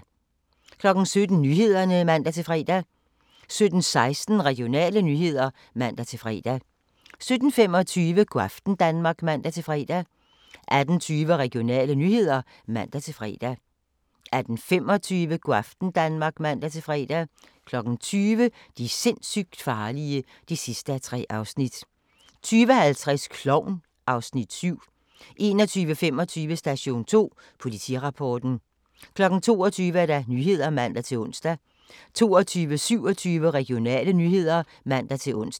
17:00: Nyhederne (man-fre) 17:16: Regionale nyheder (man-fre) 17:25: Go' aften Danmark (man-fre) 18:20: Regionale nyheder (man-fre) 18:25: Go' aften Danmark (man-fre) 20:00: De sindssygt farlige (3:3) 20:50: Klovn (Afs. 7) 21:25: Station 2: Politirapporten 22:00: Nyhederne (man-ons) 22:27: Regionale nyheder (man-ons)